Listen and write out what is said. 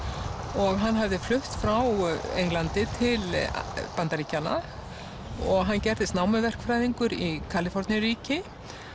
og hann hafði flutt frá Englandi til Bandaríkjanna og hann gerðist námuverkfræðingur í Kaliforníuríki